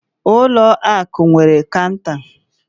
Ụlọ ụlọ akụ nwere cọunta.